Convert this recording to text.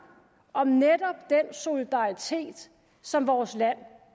om netop den solidaritet som vores land